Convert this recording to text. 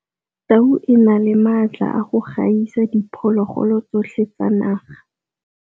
Tau e na le maatla a go gaisa diphologolo tsotlhe tsa naga.